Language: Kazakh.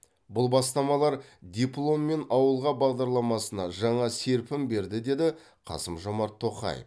бұл бастамалар дипломммен ауылға бағдарламасына жаңа серпін берді деді қасым жомарт тоқаев